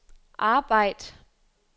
arbejd